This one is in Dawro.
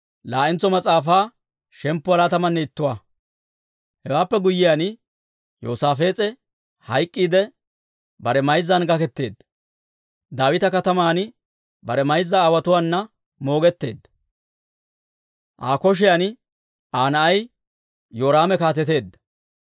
Hewaappe guyyiyaan, Yoosaafees'e hayk'k'iidde, bare mayzzan gaketeedda. Daawita Kataman bare mayza aawotuwaana moogetteedda. Aa kotaan Aa na'ay Yoraame kaateteedda.